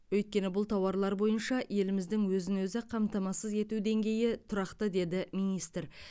өйткені бұл тауарлар бойынша еліміздің өзін өзі қамтамасыз ету деңгейі тұрақты деді министр